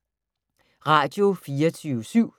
Radio24syv